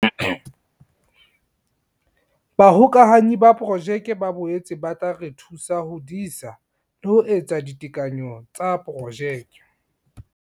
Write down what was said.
Bahokahanyi ba Projeke ba boetse ba tla re thusa ho disa le ho etsa ditekanyo tsa projeke.